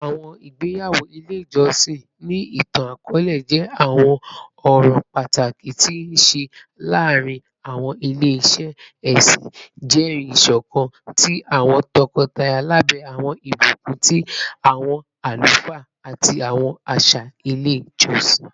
Awọn igbeyawo ile ijọsin, ni itan-akọọlẹ, jẹ awọn ọran pataki ti a nṣe laarin awọn ile-iṣẹ ẹsin, jẹri iṣọkan ti awọn tọkọtaya labẹ awọn ibukun ti awọn alufaa ati awọn aṣa ile ijọsin.